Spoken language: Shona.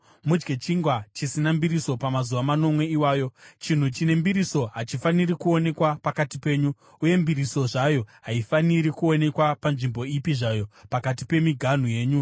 Mudye chingwa chisina mbiriso pamazuva manomwe iwayo; chinhu chine mbiriso hachifaniri kuonekwa pakati penyu, uye mbiriso zvayo haifaniri kuonekwa panzvimbo ipi zvayo pakati pemiganhu yenyu.